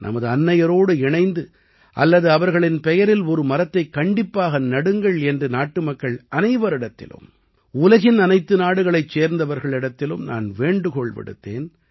நமது அன்னையரோடு இணைந்து அல்லது அவர்களின் பெயரில் ஒரு மரத்தைக் கண்டிப்பாக நடுங்கள் என்று நாட்டு மக்கள் அனைவரிடத்திலும் உலகின் அனைத்து நாடுகளைச் சேர்ந்தவர்களிடத்திலும் நான் வேண்டுகோள் விடுத்தேன்